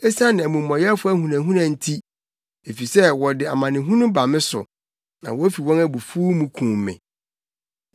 esiane nea me tamfo reka, esiane omumɔyɛfo ahunahuna nti; efisɛ wɔde amanehunu ba me so; na wofi wɔn abufuw mu kum me.